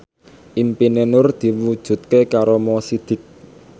impine Nur diwujudke karo Mo Sidik